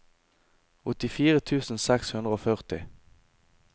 åttifire tusen seks hundre og førti